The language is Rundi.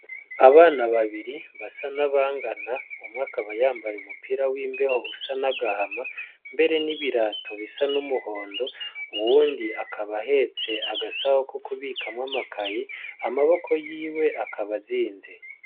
Abana babiri basa na bangana umwe akaba yambay' umupira w'imbeho usa na gahama, mbere n' ibirato bisa n'umuhondo, uwundi akab' ahets' agasaho kukubikamw' amakaye, amaboko yiwe akab' azinze.